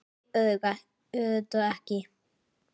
Nei, auðvitað ekki!